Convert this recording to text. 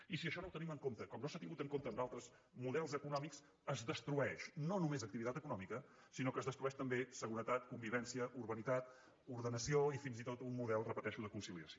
i si això no ho tenim en compte com no s’ha tingut en compte en altres models econòmics es destrueix no només activitat econòmica sinó que es destrueix també seguretat convivència urbanitat ordenació i fins i tot un model ho repeteixo de conciliació